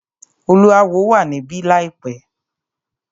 Oluawo wà níbí láìpẹ́.